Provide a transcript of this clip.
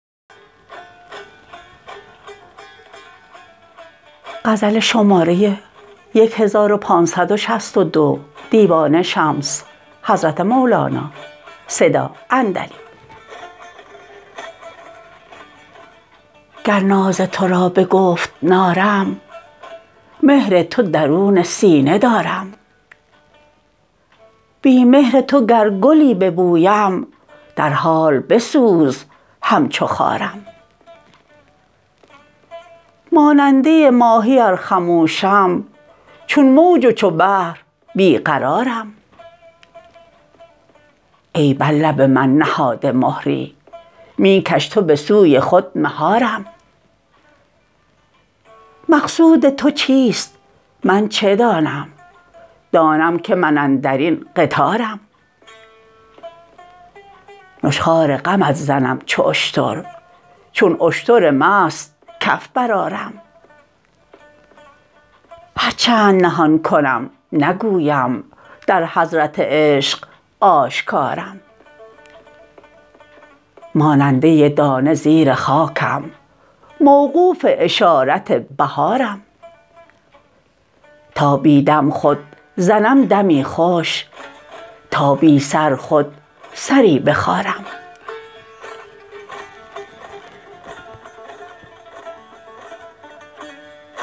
گر ناز تو را به گفت نارم مهر تو درون سینه دارم بی مهر تو گر گلی ببویم در حال بسوز همچو خارم ماننده ماهی ار خموشم چون موج و چو بحر بی قرارم ای بر لب من نهاده مهری می کش تو به سوی خود مهارم مقصود تو چیست من چه دانم دانم که من اندر این قطارم نشخوار غمت زنم چو اشتر چون اشتر مست کف برآرم هر چند نهان کنم نگویم در حضرت عشق آشکارم ماننده دانه زیر خاکم موقوف اشارت بهارم تا بی دم خود زنم دمی خوش تا بی سر خود سری بخارم